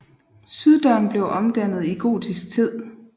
Syddøren blev omdannet i gotisk tid